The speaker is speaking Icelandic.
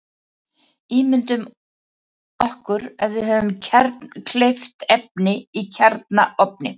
Ímyndum okkur að við höfum kjarnkleyft efni í kjarnaofni.